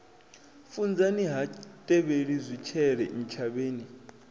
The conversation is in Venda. funzani ha tevheli zwitshele ntshavheni